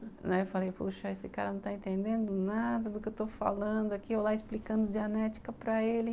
Né, aí eu falei, poxa, esse cara não está entendendo nada do que eu estou falando aqui ou lá, explicando diagnética para ele.